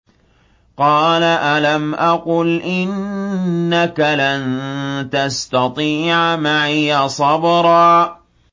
قَالَ أَلَمْ أَقُلْ إِنَّكَ لَن تَسْتَطِيعَ مَعِيَ صَبْرًا